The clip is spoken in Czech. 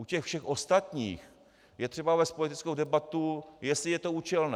U těch všech ostatních je třeba vést politickou debatu, jestli je to účelné.